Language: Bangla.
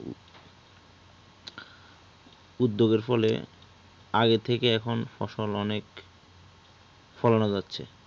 উদ্যোগ এর ফলে আগে থেকেই এখন ফসল অনেক ফলানো যাচ্ছে